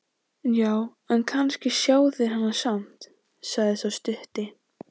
Já, en kannski sjá þeir hana samt, sagði sá stutti.